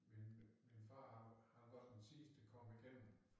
Min min far han var han var den sidste der kom igennem